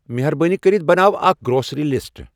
مہربٲنی کٔرِتھ بناو اکھ گروسری لسٹہٕ ۔